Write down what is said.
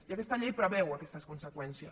i aquesta llei preveu aquestes conseqüències